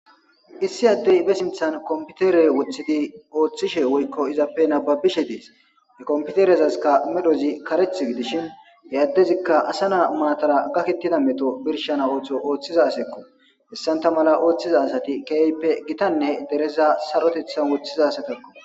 Issi addey besinthan komputere woththidi ooththishe woykko izappe nababishe dees e komputerezaska medozi kareth gidishin he addezikka asa naa maatara gakettida meto birshana ooththo ooththiza aseekko hessanta mala ooththiza asati keeyppe gitanne dereza sarotethan woththiza satakko.